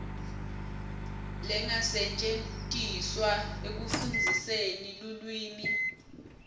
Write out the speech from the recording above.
lengasetjentiswa ekufundziseni lulwimi